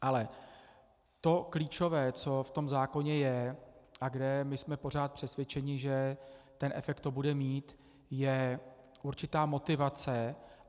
Ale to klíčové, co v tom zákoně je a kde my jsme pořád přesvědčeni, že ten efekt to bude mít, je určitá motivace.